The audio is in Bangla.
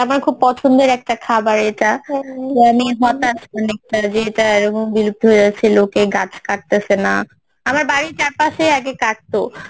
আমার খুব পছন্দের একটা খাবার এইটা তো আমি হতাস কিছুটা যে এটা এইরকম বিলুপ্ত হয়ে যাচ্ছে লোকে গাছ কাটতেসেনা আমার বাড়ির চারপাশে আগে কাটতো